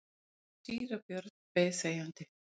Síra Björn beið þegjandi.